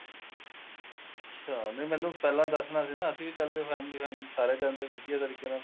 ਅੱਛਾ ਨੀਂ ਮੈਨੂੰ ਪਹਿਲਾਂ ਦੱਸਣਾ ਸੀ ਨਾ ਅਸੀਂ ਵੀ ਚੱਲਦੇ family ਨਾਲ ਸਾਰੇ ਜਾਂਦੇ ਵਧੀਆ ਰਲ ਕੇ ਨਾਲ